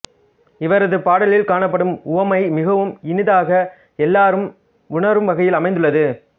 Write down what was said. இவரது பாடலில் காணப்படும் உவமை மிகவும் இனிதாக எல்லாரும் உணரும் வகையில் அமைந்துள்ளது